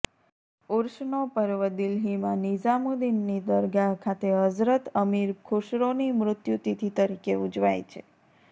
ઉર્સનો પર્વ દિલ્હીમાં નિઝામુદ્દીનની દરગાહ ખાતે હઝરત અમીર ખુસરોની મૃત્યુતિથિ તરીકે ઉજવાય છે